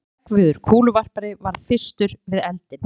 Hreggviður kúluvarpari varð fyrstur var við eldinn.